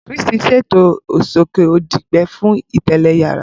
Chris ṣeto soke odi gbẹ fun telẹ yara.